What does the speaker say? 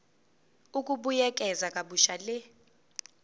ukubuyekeza kabusha le